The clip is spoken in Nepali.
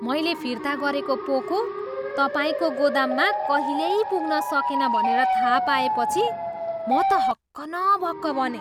मैले फिर्ता गरेको पोको तपाईँको गोदाममा कहिल्यै पुग्न सकेन भनेर थाहा पाएपछि म त हक्क न बक्क बनेँ।